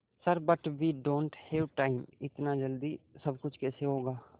sir but we don't have time इतनी जल्दी सब कुछ कैसे होगा